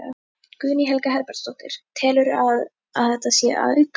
Guðný Helga Herbertsdóttir: Telurðu að, að þetta sé að aukast?